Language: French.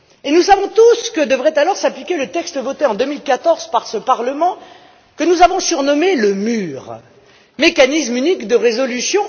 Nous savons tous que devrait alors s'appliquer le texte voté en 2014 par ce Parlement, que nous avons surnommé le mur mécanisme unique de résolution.